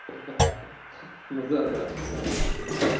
ха ха ха ха ну да да согласен